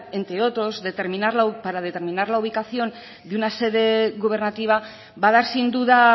entre otros para determinar la ubicación de una sede gubernativa va a dar sin duda